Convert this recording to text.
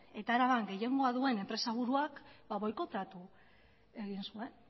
eta araban gehiengoa duen enpresa buruak boikoteatu egin zuen